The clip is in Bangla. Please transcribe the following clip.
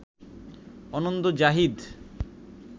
অনন্ত জাহিদ